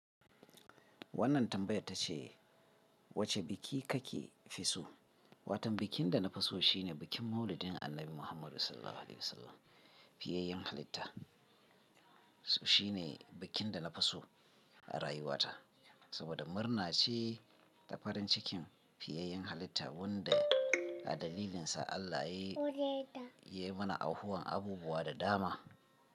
Wannan tambayar tace wace biki kake fi so? Watan bikin da na fi so shine bikin Maulidin Annabi Muhammadu SAW. Fiyayen halitta. Shi ne bikin da na fi so a rayuwata saboda murna ce ta farin cikin fiyayen halitta wanda a dalilinsa Allah yayi mana aihuwan abubuwa da dama.